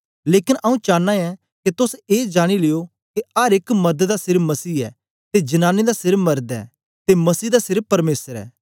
लेकन आऊँ चानां ऐं के तोस ए जानी लियो के अर एक मर्द दा सिर मसीह ऐ ते जनांनी दा सिर मर्द ऐ ते मसीह दा सिर परमेसर ऐ